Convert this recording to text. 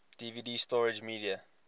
dvd storage media